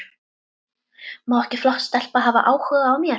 Má ekki flott stelpa hafa áhuga á mér?